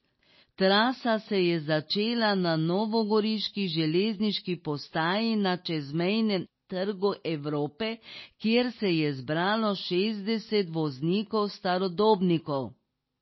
Trasa se je začela na novogoriški železniški postaji na čezmejnem Trgu Evrope, kjer se je zbralo šestdeset voznikov starodobnikov.